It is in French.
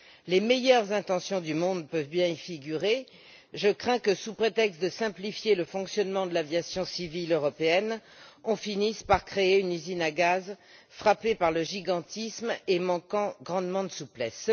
Les meilleures intentions du monde peuvent bien y figurer, je crains que sous prétexte de simplifier le fonctionnement de l'aviation civile européenne, on ne finisse par créer une usine à gaz, frappée par le gigantisme et manquant grandement de souplesse.